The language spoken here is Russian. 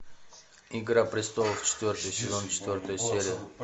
игра престолов четвертый сезон четвертая серия